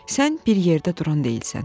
Sən bir yerdə duran deyilsən.